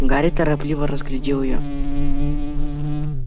гарри торопливо разглядел её